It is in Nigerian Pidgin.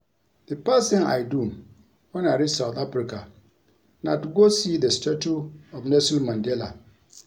The first thing I do wen I reach South Africa na to go see the statue of Nelson Mandela